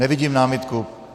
Nevidím námitku.